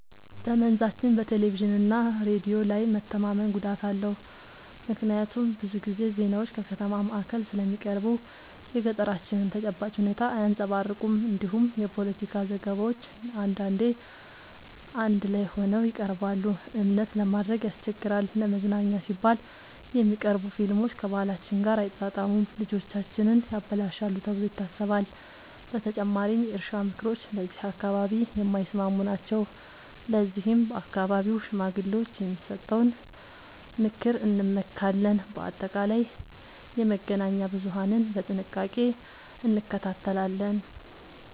በመንዛችን በቴሌቪዥንና ሬዲዮ ላይ መተማመን ጉዳት አለው፤ ምክንያቱም ብዙ ጊዜ ዜናዎች ከከተማ ማዕከል ስለሚቀርቡ የገጠራችንን ተጨባጭ ሁኔታ አያንጸባርቁም። እንዲሁም የፖለቲካ ዘገባዎች አንዳንዴ አዳላይ ሆነው ይቀርባሉ፤ እምነት ለማድረግ ያስቸግራል። ለመዝናኛ ሲባል የሚቀርቡ ፊልሞች ከባህላችን ጋር አይጣጣሙም፣ ልጆቻችንን ያበላሻሉ ተብሎ ይታሰባል። በተጨማሪም የእርሻ ምክሮች ለዚህ አካባቢ የማይስማሙ ናቸው፤ ለዚህም በአካባቢው ሽማግሌዎች የሚሰጠውን ምክር እንመካለን። በአጠቃላይ የመገናኛ ብዙሀንን በጥንቃቄ እንከታተላለን።